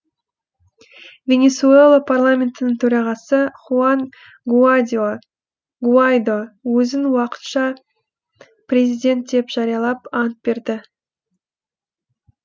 венесуэла парламентінің төрағасы хуан гуаидо өзін уақытша президент деп жариялап ант берді